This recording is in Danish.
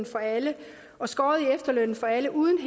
for alle og skåret i efterlønnen for alle uden